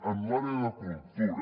en l’àrea de cultura